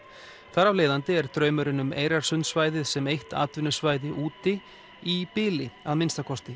þar af leiðandi er draumurinn um sem eitt atvinnusvæði úti í bili að minnsta kosti